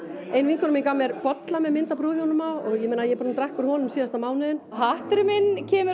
ein vinkona mín gaf mér bolla með mynd af brúðhjónunum á og ég er búin að drekka úr honum síðasta mánuðinn hatturinn minn kemur